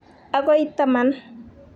agoi 10.